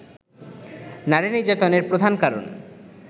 নারী নির্যাতনের প্রধান কারণ